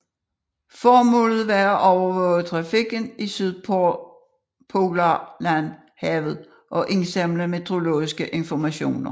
Formålet var at overvåge trafikken i Sydpolarhavet og indsamle meteorologisk information